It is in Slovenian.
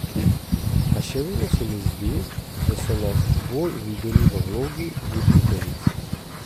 A še vedno se mi zdi, da so nas bolj videli v vlogi voditeljic.